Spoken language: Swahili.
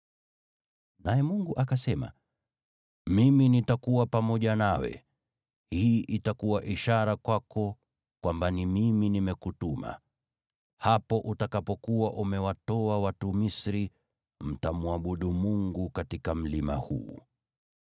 Naye Mungu akasema, “Mimi nitakuwa pamoja nawe. Hii itakuwa ishara kwako kwamba ni Mimi nimekutuma: Hapo utakapokuwa umewatoa watu Misri, mtamwabudu Mungu katika mlima huu.”